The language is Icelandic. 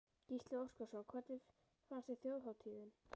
Gísli Óskarsson: Hvernig fannst þér þjóðhátíðin?